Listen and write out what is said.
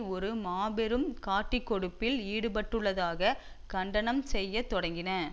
ஒரு மாபெரும் காட்டிக் கொடுப்பில் ஈடுபட்டுள்ளதாக கண்டனம் செய்ய தொடங்கின